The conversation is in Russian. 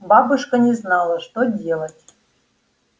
бабушка не знала что делать